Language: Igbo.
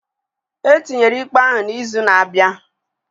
Etinyere ikpe ahụ na izu na abịa